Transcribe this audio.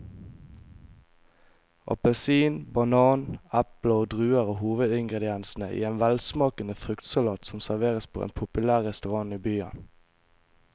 Appelsin, banan, eple og druer er hovedingredienser i en velsmakende fruktsalat som serveres på en populær restaurant i byen.